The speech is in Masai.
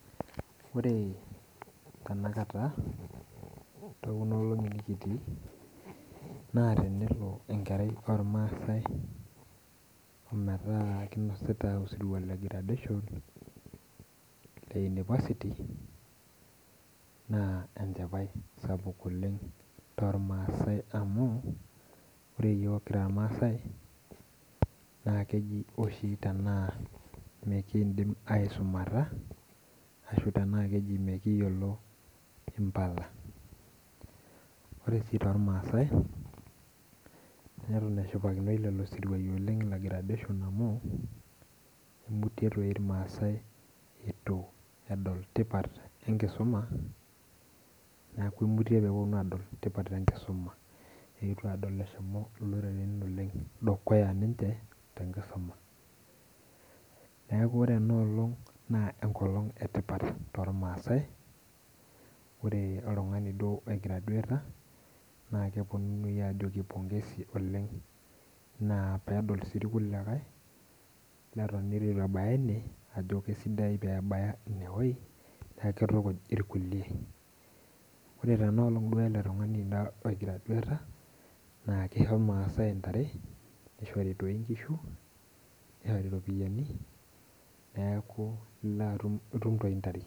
Ore tanakata tekunaolongi nikitii na tenelo enkerai ormaasai metaa kinasita osirua legradation le unipasiti na enchipae. Sapuk oleng tormaasai amuore yiok kira irmaasai na keji oshi mikindim aisumata ashu tana keji mikiyiolo mpala ore tormaasai netin eshipakinoi lolosiruainbamu imutie irmaasai ituedol tipat enkisuma eetuo adok eshomo loloren dukuya tenkisuma neakubore enaaalong na enkolong etipat oleng tormaasai neaku ore oltungani oi graduata na kajokini pengesi pedol na irkuliekae neton itu kibaya ine na kesidai tenibaya ineweuji nakitukij irkulie ore enkolong na kisho irmaasai intare nishori nkishu nishori ropiyani neaku itum toi ntare.